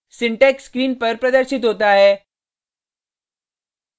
syntax screen पर प्रदर्शित होता है